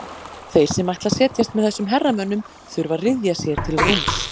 Þeir sem ætla að setjast með þessum herramönnum þurfa að ryðja sér til rúms.